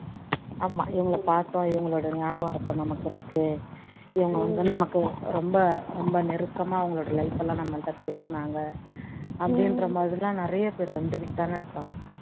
ஆமா இவங்களை பாத்தா இவங்களோட நியாபகார்த்தம் நமக்கு இருக்கு இவங்க வந்து நமக்கு ரொம்ப ரொம்ப நெருக்கமா அவங்களோட life எல்லாம் நம்ம கிட்ட பேசுனாங்க அப்படின்றமாதிரி எல்லாம் நிறைய பேர் வந்துக்கிட்டுதான இருப்பாங்க